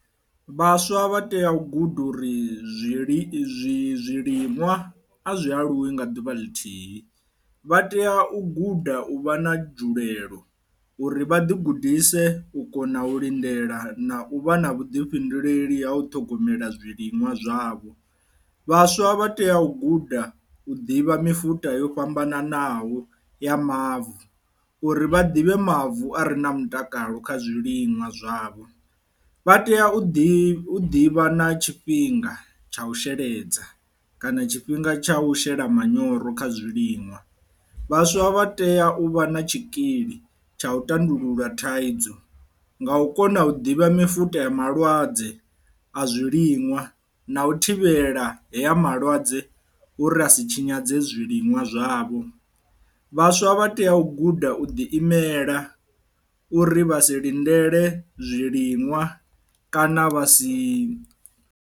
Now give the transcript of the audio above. Vhaswa vha tea u guda uri zwili zwi zwiliṅwa a zwi aluwi nga ḓuvha ḽithihi, vha tea u guda u vha na dzhulelo uri vha ḓi gudise u kona u lindela na u vha na vhuḓifhinduleli ha u ṱhogomela zwiliṅwa zwavho. Vhaswa vha tea u guda u ḓivha mifuda yo fhambananaho ya mavu uri vha ḓivhe mavu a re na mutakalo kha zwiliṅwa zwavho, vha tea u ḓivha u ḓivha na tshifhinga tsha u sheledza kana tshifhinga tsha u shela manyoro kha zwiliṅwa. Vhaswa vha tea u vha na tshikili tsha u tandulula thaidzo nga u kona u ḓivha mifute a malwadze a zwiliṅwa na u thivhela heya malwadze uri a si tshinyadze zwiliṅwa zwavho, vhaswa vha tea u guda u ḓi imela uri vha si lindele zwiliṅwa kana vha si.